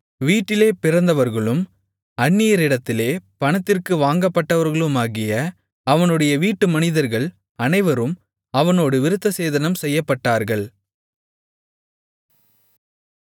வீட்டிலே பிறந்தவர்களும் அந்நியரிடத்திலே பணத்திற்கு வாங்கப்பட்டவர்களுமாகிய அவனுடைய வீட்டு மனிதர்கள் அனைவரும் அவனோடு விருத்தசேதனம் செய்யப்பட்டார்கள்